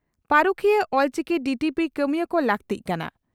᱾ ᱯᱟᱹᱨᱩᱠᱷᱤᱭᱟᱹ ᱚᱞᱪᱤᱠᱤ ᱰᱤᱹᱴᱤᱹᱯᱤᱹ ᱠᱟᱹᱢᱤᱭᱟᱹ ᱠᱚ ᱞᱟᱹᱠᱛᱤᱜ ᱠᱟᱱᱟ